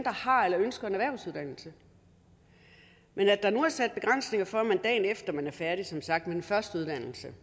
har eller ønsker en erhvervsuddannelse men at der nu er sat begrænsninger for at man dagen efter at man er færdig som sagt med den første uddannelse